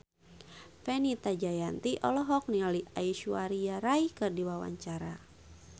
Fenita Jayanti olohok ningali Aishwarya Rai keur diwawancara